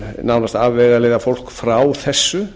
nánast afvegaleiða fólk frá þessu